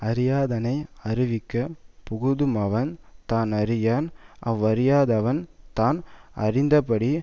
அறியாதானை அறிவிக்க புகுதுமவன் தானறியான் அவ்வறியாதவன் தான் அறிந்தபடி